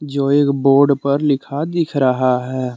जो एक बोर्ड पर लिखा दिख रहा है।